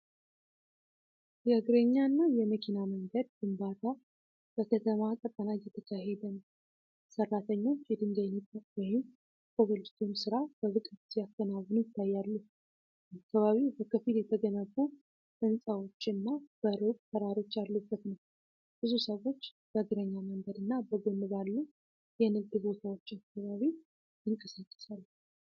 የእግረኛ እና የመኪና መንገድ ግንባታ በከተማ ቀጠና እየተካሄደ ነው። ሠራተኞች የድንጋይ ንጣፍ (ኮብልስቶን) ሥራ በብቃት ሲያከናውኑ ይታያሉ። አካባቢው በከፊል የተገነቡ ሕንፃዎችና በሩቅ ተራሮች ያሉበት ነው። ብዙ ሰዎች በእግረኛ መንገድና በጎን ባሉ የንግድ ቦታዎች አካባቢ ይንቀሳቀሳሉ።